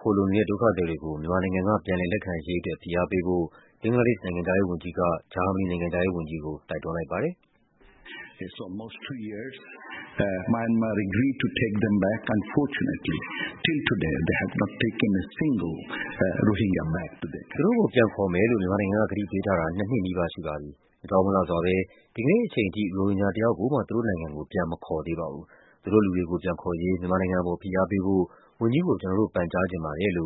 ခိုလှုံနေတဲ့ ဒုက္ခသည်တွေကို မြန်မာနိုင်ငံက ပြန်လည် လက်ခံရေးအတွက် ဖိအားပေးဖို့ ဘင်္ဂလားဒေ့ရှ်နိုင်ငံခြား ရေးဝန်ကြီးက ဂျာမနီနိုင်ငံခြားရေးဝန်ကြီးကို တိုက်တွန်းလိုက်ပါတယ်။ “သူတို့ကိုပြန်ခေါ်မယ်လို့ မြန်မာနိုင်ငံက ကတိပေးထားတာ နှစ်နှစ်နီးပါးရှိပါပြီ။ အကြောင်းမလှစွာဘဲ ဒီကနေ့အချိန်ထိ ရိုဟင်ဂျာတယောက်ကိုမှ သူတို့နိုင်ငံကို ပြန်မခေါ်သေးပါဘူး။ သူတို့လူတွေကို ပြန်ခေါ်ရေး မြန်မာနိုင်ငံအပေါ် ဖိအားပေးဖို့ ဝန်ကြီးကို ကျနော်တို့ ပန်ကြားချင်ပါတယ်။”